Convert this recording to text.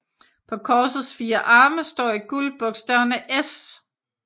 På korsets fire arme står i guld bogstaverne S